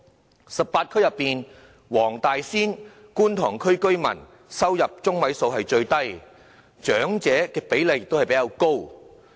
在18區之中，黃大仙和觀塘區的居民收入中位數最低，長者比例則比較高。